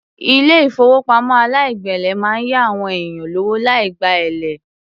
Ilé ìfowópamọ́ aláìgbèlé máa ń ya àwọn èèyàn lówó láì gba èlé.